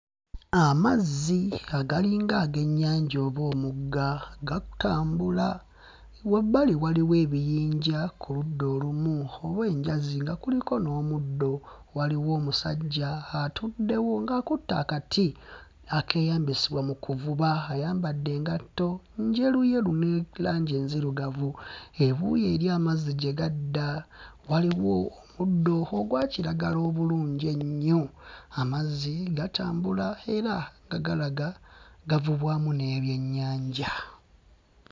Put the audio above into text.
Amazzi agalinga ag'ennyanja oba omugga gatambula. Wabbali waliwo ebiyinja ku ludda olumu oba enjazi nga kuliko n'omuddo. Waliwo n'omusajja atuddewo ng'akutte akati akeeyambisibwa mu kuvuba. Ayambadde engatto njeruyeru ne langi enzirugavu. Ebuuyi eri amazzi gye gadda waliwo omuddo ogwa kiragala obulungi ennyo. Amazzi gatambula era nga galaga gavubibwamu n'ebyennyanja.